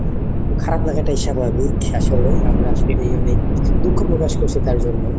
খারাপ লাগাটাই স্বাভাবিক, আসলে আমরা আসলে অনেক দুঃখ প্রকাশ করছি তার জন্য.